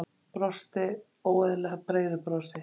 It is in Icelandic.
Brosti óeðlilega breiðu brosi.